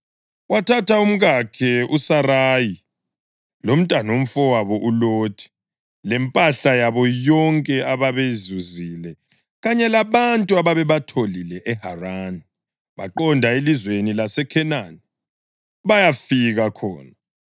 Wathatha umkakhe uSarayi, lomntanomfowabo uLothi, lempahla yabo yonke ababeyizuzile kanye labantu ababebatholile eHarani, baqonda elizweni laseKhenani, bayafika khona.